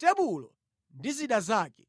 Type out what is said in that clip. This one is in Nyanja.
tebulo ndi zida zake,